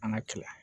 An ka kɛlɛ